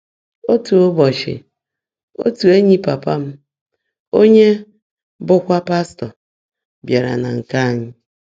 Ótú ụ́bọ́chị́ ótú éńyí pàpá m, ónyé bụ́kwá pástọ́, bìáàrá nà nkè ányị́.